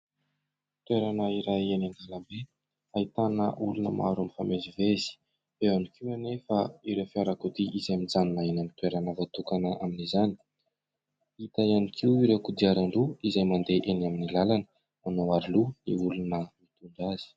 Toerana iray eny an-dàlambe ahitana olona maro mifamezivezy, eo ihany koa anefa ireo fiarakodia izay mijanona eny amin'ny toerana voatokana amin'izany, hita ihany koa ireo kodiaran-droa izay mandeha eny amin'ny làlana, manao aroloha ny olona mitondra azy.